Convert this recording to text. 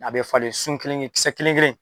A bɛ falen, sun kelen kelen, kisɛ kelen kelen,